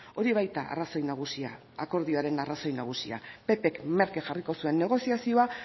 hori baita arrazoi nagusia akordioaren arrazoi nagusia pp k merke jarriko zuen negoziazioa